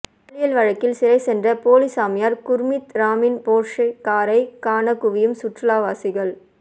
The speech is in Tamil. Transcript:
பாலியல் வழக்கில் சிறை சென்ற போலி சாமியார் குர்மீத் ராமின் போர்ஷே காரை காண குவியும் சுற்றுலாவாசிகள்